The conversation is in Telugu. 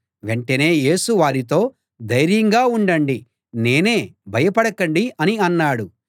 వెంటనే యేసు వారితో ధైర్యంగా ఉండండి నేనే భయపడకండి అని అన్నాడు